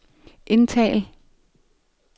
indtal